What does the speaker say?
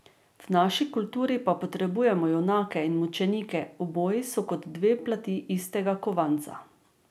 V naši kulturi pa potrebujemo junake in mučenike, oboji so kot dve plati istega kovanca.